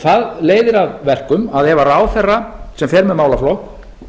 það leiðir af verkum ef ráðherra sem fer með málaflokk